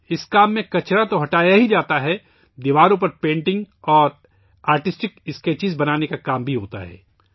اس کام میں نہ صرف کچرا ہٹایا جاتا ہے بلکہ دیواروں پر پینٹنگ اور آرٹسٹک اسکیچز بنانے کا کام بھی کیا جاتا ہے